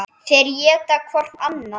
Þeir éta hvorn annan.